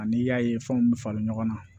Ani i y'a ye fɛnw bɛ falen ɲɔgɔn na